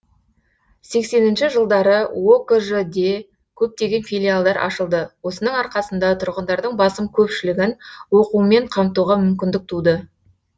сексенінші жылдары окж де көптеген филиалдар ашылды осының арқасында тұрғындардың басым көпшілігін оқумен қамтуға мүмкіндік туды